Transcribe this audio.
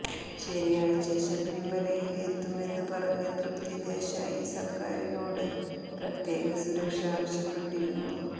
ശനിയാഴ്ച ശബരിമലയില് എത്തുമെന്ന് പറഞ്ഞ തൃപ്തി ദേശായി സര്ക്കാരിനോട് പ്രത്യേക സുരക്ഷ ആവശ്യപ്പെട്ടിരുന്നു